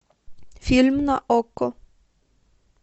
фильм на окко